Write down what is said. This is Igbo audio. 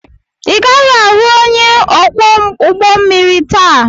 Ị gaghị ahụ onye ọkwọ ụgbọ mmiri taa!